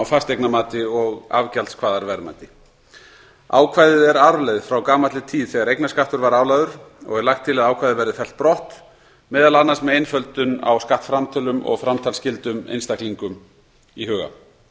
fasteignamati og afgjaldskvaðarverðmæti ákvæðið er arfleifð frá gamalli tíð þegar eignarskattur var álagður og er lagt til að ákvæðið verði fellt brott meðal annars með einföldun á skattframtölum og framtalsskyldum einstaklinga í huga ekki